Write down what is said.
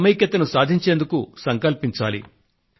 సమైక్యతను సాధించేందుకు సంకల్పించాలి